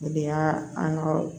O de y'a an ka